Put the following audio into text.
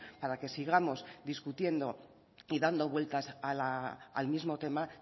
para que sigamos discutiendo y dando vueltas al mismo tema